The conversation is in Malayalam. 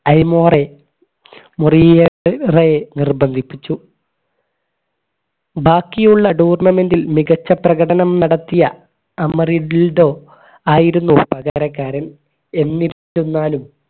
ഐമോറെ മുറിയേറെ നിർബന്ധിപ്പിച്ചു ബാക്കിയുള്ള tournament ൽ മികച്ച പ്രകടനം നടത്തിയ ആയിരുന്നു പകരകാരൻ എന്നിട്ടും താനും